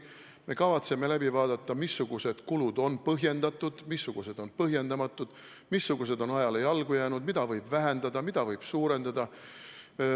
Me kavatseme läbi vaadata, missugused kulud on põhjendatud, missugused on põhjendamatud, missugused on ajale jalgu jäänud, mida võib vähendada, mida võib suurendada.